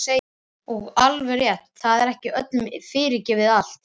Og alveg rétt, það er ekki öllum fyrirgefið allt.